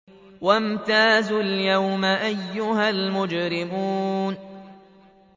وَامْتَازُوا الْيَوْمَ أَيُّهَا الْمُجْرِمُونَ